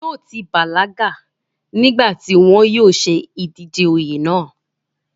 yóò ti bàlágà nígbà tí wọn yóò ṣe ìdíje oyè náà